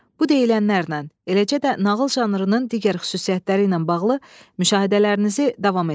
Bu deyilənlərdən, eləcə də nağıl janrının digər xüsusiyyətləri ilə bağlı müşahidələrinizi davam etdirin.